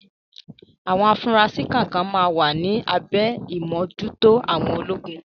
Àwọn afurasí kan máa wà ní abẹ́ ìmójúto àwọn ológun.